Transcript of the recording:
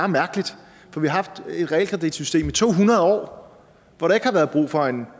mærkeligt for vi har haft et realkreditsystem i to hundrede år hvor der ikke har været brug for en